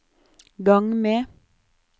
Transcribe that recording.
gang med